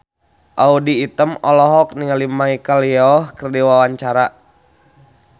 Audy Item olohok ningali Michelle Yeoh keur diwawancara